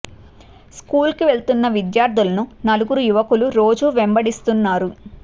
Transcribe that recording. school కు వెళుతున్న విద్యార్థులను నలుగురు యువకుల రోజు వెంబడిస్తున్నారు